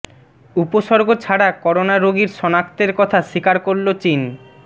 উপসর্গ ছাড়া করোনা রোগীর শনাক্তের কথা স্বীকার করলো চীন